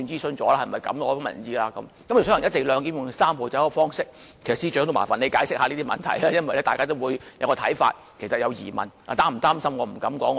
所謂"一地兩檢"和"三步走"的方式等，我亦希望請司長解釋以上問題，因為大家也是有些看法和疑問的。